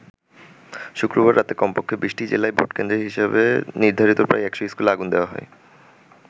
শুক্রবার রাতে কমপক্ষে ২০টি জেলায় ভোটকেন্দ্র হিসেবে নির্ধারিত প্রায ১০০ স্কুলে আগুন দেয়া হয়।